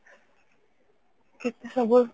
କେତେ ସବୁ